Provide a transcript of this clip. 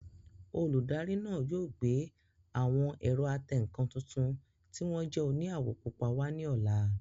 Olùdarí náà yóò gbé àwọn ẹ̀rọ atẹǹkan tuntun tí wọ́n jẹ́ òní àwọ̀ púpọ̀ wá ní ọ̀la